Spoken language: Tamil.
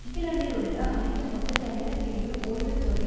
இங்கிலாந்தில் உள்ள அனைத்து மொத்த தனியார் பிரிவு ஓய்வுத் தொகை